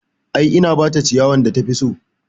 I, na bata ciyawan da tafi so